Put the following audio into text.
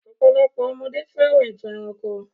Ọ̀pọ̀lopọ̀ ọmọdé fẹ́ràn ìtàn ẹranko.